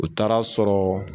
U taar'a sɔrɔ